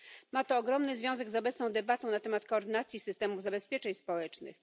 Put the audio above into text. Ma to ogromny związek z obecną debatą na temat koordynacji systemów zabezpieczeń społecznych.